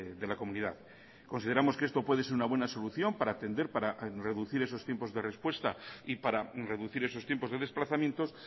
de la comunidad consideramos que esto puede ser una buena solución para atender para reducir esos tiempos de respuesta y para reducir esos tiempos de desplazamientos